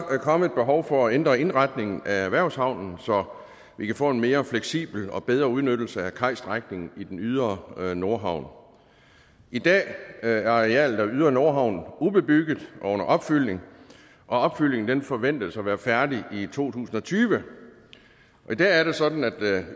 kommet et behov for at ændre indretningen af erhvervshavnen så vi kan få en mere fleksibel og bedre udnyttelse af kajstrækningen i ydre nordhavn i dag er arealet ydre nordhavn ubebygget og under opfyldning og opfyldningen forventes at være færdig i to tusind og tyve i dag er det sådan at